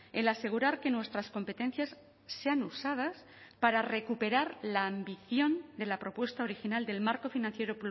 el asegurar que nuestras competencias sean usadas para recuperar la ambición de la propuesta original del marco financiero